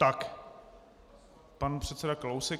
Tak pan předseda Kalousek.